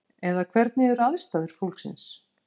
Eða hvernig eru aðstæður fólksins?